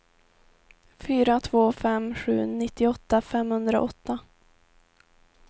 fyra två fem sju nittioåtta femhundraåtta